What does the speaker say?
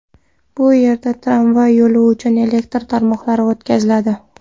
Bu yerda tramvay yo‘li uchun elektr tarmoqlar o‘tkaziladi.